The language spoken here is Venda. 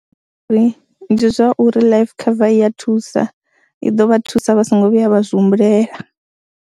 Uri ndi zwa uri life cover I ya thusa, i ḓo vha thusa vha songo vhuya vha zwi humbulela.